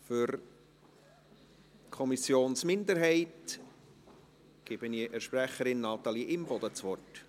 Für die Kommissionsminderheit gebe ich der Sprecherin, Natalie Imboden, das Wort.